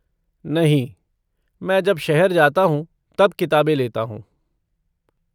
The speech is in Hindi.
नहीं, मैं जब शहर जाता हूँ, तब किताबें लेता हूँ।